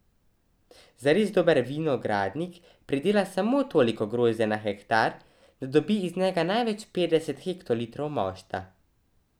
Zares dober vinogradnik pridela samo toliko grozdja na hektar, da dobi iz njega največ petdeset hektolitrov mošta.